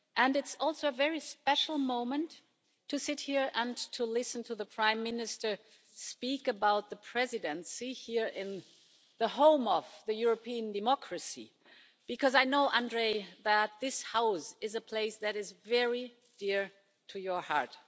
It's also a very special moment to sit here and to listen to the Prime Minister speak about the Presidency here in the home of European democracy, because I know, Andrej, that this House is a place that is very dear to your heart.